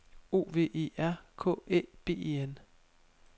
O V E R K Æ B E N